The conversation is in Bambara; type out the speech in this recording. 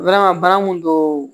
bana mun don